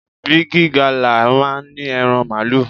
Bigi Gala máa ń ní ẹran Màálù.